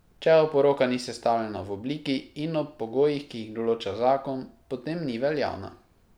Če oporoka ni sestavljena v obliki in ob pogojih, ki jih določa zakon, potem ni veljavna.